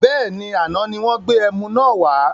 Bẹ́ẹ̀ni, àná ni wọn gbé ẹmu náà wà